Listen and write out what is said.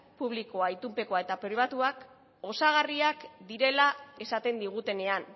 publikoa pribatua eta itunpekoa osagarriak direla esaten digutenean